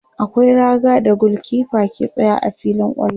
akwai raga da gulkefa ke tsayawa a filin kwallo